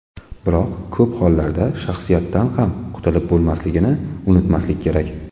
Biroq ko‘p hollarda shaxsiyatdan ham qutilib bo‘lmasligini unutmaslik kerak.